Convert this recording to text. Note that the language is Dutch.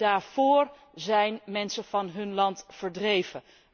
Daarvoor zijn mensen van hun land verdreven.